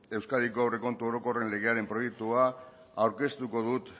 euskadiko aurrekontu orokorren legearen proiektua aurkeztuko dut